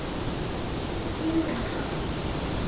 Þú um það.